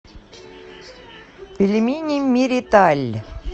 пельмени мириталь